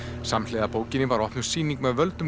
samhliða bókinni var opnuð sýning með völdum